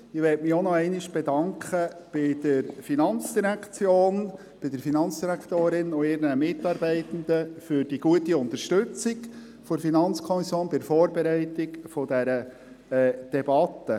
Ich möchte mich auch nochmals bei der FIN, bei der Finanzdirektorin und ihren Mitarbeitenden, bedanken für die gute Unterstützung der FiKo bei der Vorbereitung der Debatte.